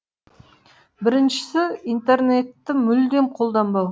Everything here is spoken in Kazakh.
біріншісі интернетті мүлдем қолданбау